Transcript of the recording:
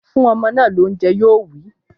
Fún ọmọ náà lóúnjẹ! Yoowí.